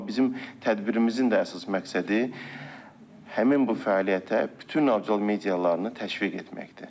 Amma bizim tədbirimizin də əsas məqsədi həmin bu fəaliyyətə bütün audiovizual medialarını təşviq etməkdir.